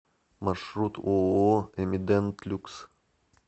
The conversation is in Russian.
маршрут ооо эмидент люкс